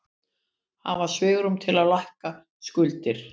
Hafa svigrúm til að lækka skuldir